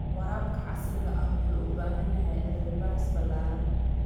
Waraabka casriga ah wuxuu u baahan yahay cilmi-baaris ballaaran.